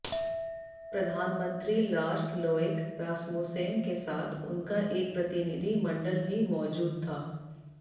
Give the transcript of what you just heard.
प्रधानमंत्री Lars Lokke Rasmussen के साथ उनका एक प्रतिनिधि मंडल भी मौजूद था